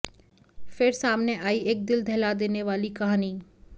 फिर सामने आई एक दिल दहला देने वाली कहानी